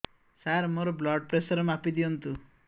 ସାର ମୋର blood pressure ମାପି ଦିଅନ୍ତୁ